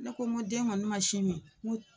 ne ko ŋo den ŋɔni ma sin min ŋ'u